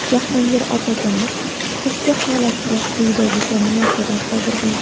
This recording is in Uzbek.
Jahongir Otajonov ushbu holatga quyidagicha munosabat bildirgan.